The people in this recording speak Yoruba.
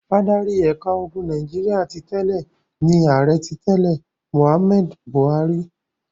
Adarí ẹ̀ka ogun Nàìjíríà ti tẹ́lẹ̀ ni Ààrẹ ti tẹ́lẹ̀ Mohammed Buhari.